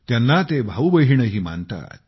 त्यांना ते भाऊबहिणही मानतात